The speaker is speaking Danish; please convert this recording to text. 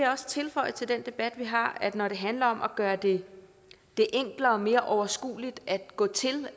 også tilføje til den debat vi har at når det handler om at gøre det enklere og mere overskueligt at gå til